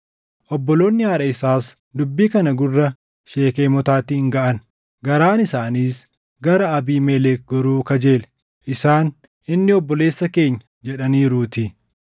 Obboloonni haadha isaas dubbii kana gurra Sheekemotaatiin gaʼan; garaan isaaniis gara Abiimelek goruu kajeele; isaan, “Inni obboleessa keenya” jedhaniiruutii.